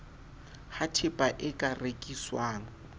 ha tehpa e ka rekiswang